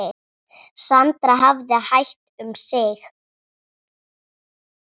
Sandra hafði hægt um sig.